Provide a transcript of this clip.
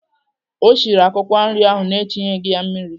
O siri akwụkwọ nri ahụ na-etinyeghị mmiri?